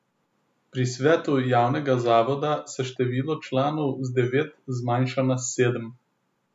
Pri svetu javnega zavoda se število članov z devet zmanjša na sedem.